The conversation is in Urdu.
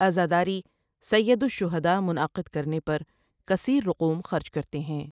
عزاداری سیدالشہداؑ منعقد کرنے پر کثیر رقوم خرچ کرتے ہیں ۔